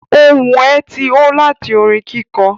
Ohun ẹ̀ tí ó láti orin kíkọ